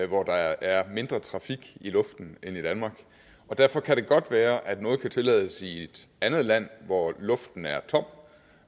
hvor der er mindre trafik i luften end i danmark og derfor kan det godt være at noget kan tillades i et andet land hvor luften er tom